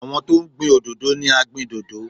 Àwọn tó ń gbin òdòdó ni agbìndòdó.